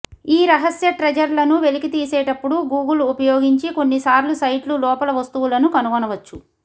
ఈ రహస్య ట్రెజర్లను వెలికితీసేటప్పుడు గూగుల్ ఉపయోగించి కొన్నిసార్లు సైట్లు లోపల వస్తువులను కనుగొనవచ్చు